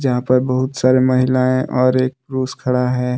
यहां पर बहुत सारी महिलाएं और एक पुरुष खड़ा है।